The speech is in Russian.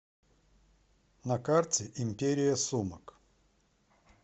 на карте империя сумок